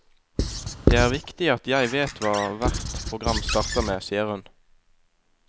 Det er viktig at jeg vet hva hvert program starter med, sier hun.